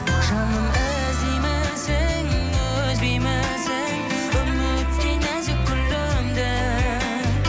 жаным іздеймісің үзбеймісің үміттей нәзік гүліңді